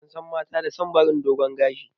Ansan mata da son barin dogun gashi